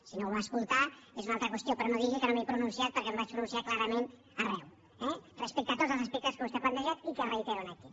si no ho va escoltar és una altra qüestió però no digui que no m’he pronunciat perquè em vaig pronunciar clarament arreu eh respecte a tots els aspectes que vostè ha plantejat i que reitero aquí